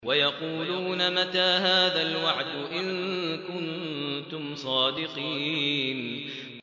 وَيَقُولُونَ مَتَىٰ هَٰذَا الْوَعْدُ إِن كُنتُمْ صَادِقِينَ